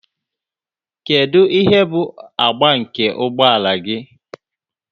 Kedu ihe bụ agba nke ụgbọ ala gị?